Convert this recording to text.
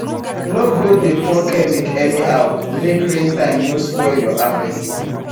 no go dey pour chemic anyhow make rain time no spoil your harvest